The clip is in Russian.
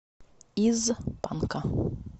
из панка